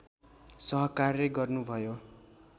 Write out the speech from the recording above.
सहकार्य गर्नुभयो